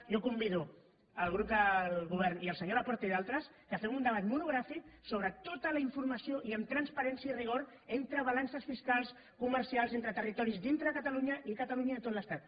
jo convido el grup del govern i el senyor laporta i d’altres perquè fem un debat mono·gràfic sobre tota la informació i amb transparència i rigor de balances fiscals comercials entre territoris dintre de catalunya i de catalunya i tot l’estat